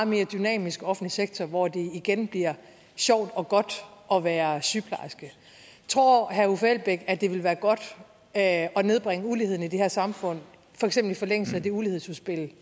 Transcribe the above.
mere dynamisk offentlig sektor hvor det igen bliver sjovt og godt at være sygeplejerske tror herre uffe elbæk at det vil være godt at nedbringe uligheden i det her samfund for eksempel i forlængelse af det ulighedsudspil